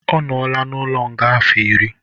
Ọ nola n'ụlo nga afọ ịrị